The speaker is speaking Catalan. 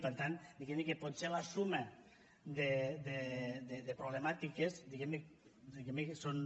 i per tant diguem ne que potser la suma de problemàtiques diguem ne que són